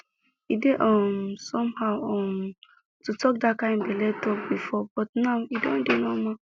e dey um somehow um to talk that kind belle talk before but now e don dey normal